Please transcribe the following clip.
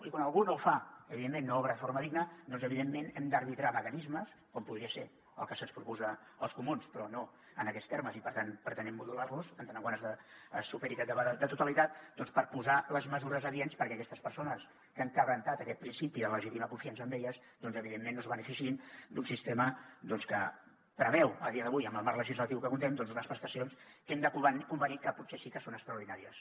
i quan algú no ho fa evidentment no obra de forma digna doncs evidentment hem d’arbitrar mecanismes com podrien ser els que ens proposen els comuns però no en aquests termes i per tant pretenem modular los si es supera aquest debat de totalitat posar les mesures adients perquè aquestes persones que han trencat aquest principi de legítima confiança en elles doncs evidentment no es beneficiïn d’un sistema que preveu a dia d’avui amb el marc legislatiu amb què comptem unes prestacions que hem de convenir que potser sí que són extraordinàries